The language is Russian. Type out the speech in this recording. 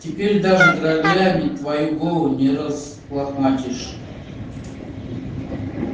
теперь даже граблями твою голову не разлохматишь